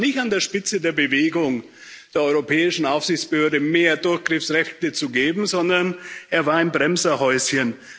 Da war er nicht an der Spitze der Bewegung, der europäischen Aufsichtsbehörde mehr Durchgriffsrechte zu geben, sondern er war im Bremserhäuschen.